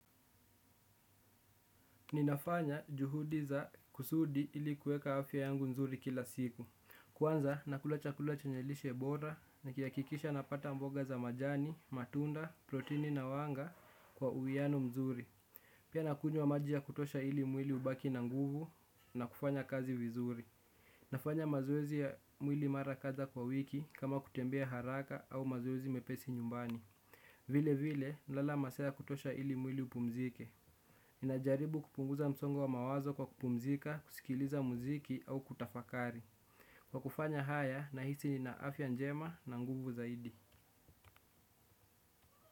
Ninafanya juhudi za kusudi ili kueka afya yangu mzuri kila siku. Kwanza nakula chakula chenye lishe bora nikihakisha napata mboga za majani, matunda, protini na wanga kwa uiano mzuri. Pia nakunywa maji ya kutosha ili mwili ubaki na nguvu na kufanya kazi vizuri. Nafanya mazoezi ya mwili mara kadha kwa wiki kama kutembea haraka au mazoezi mepesi nyumbani. Vile vile lala masaa ya kutosha ili mwili upumzike. Ninajaribu kupunguza msongo wa mawazo kwa kupumzika, kusikiliza muziki au kutafakari kwa kufanya haya nahisi ninaafya njema na nguvu zaidi.